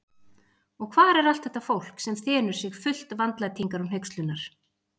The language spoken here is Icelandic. Og hvar er allt þetta fólk, sem þenur sig fullt vandlætingar og hneykslunar?